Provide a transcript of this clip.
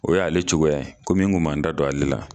O y'ale cogoya ye komi n tun ma n da don ale la